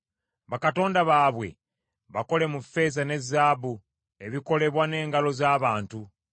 Bakatonda baabwe bakole mu ffeeza ne zaabu, ebikolebwa n’emikono gy’abantu.